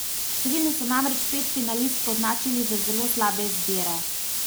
Številni so namreč pet finalistk označili za zelo slabe izbire.